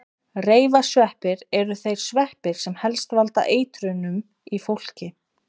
Reifasveppir eru þeir sveppir sem helst valda eitrunum í fólki.